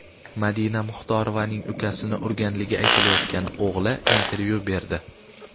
Madina Muxtorovaning ukasini urganligi aytilayotgan o‘g‘li intervyu berdi .